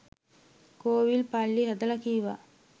කෝවිල් පල්ලි හදලා කීවා